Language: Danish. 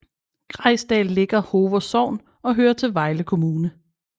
Grejsdal ligger Hover Sogn og hører til Vejle Kommune